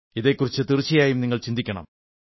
ഇതെക്കുറിച്ച് തീർച്ചയായും നിങ്ങൾ ചിന്തിക്കണം